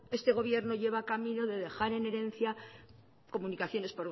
este gobierno lleva camino de dejar en herencia comunicaciones